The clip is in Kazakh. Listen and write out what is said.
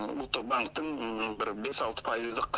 ұлттық банктің бір бес алты пайыздық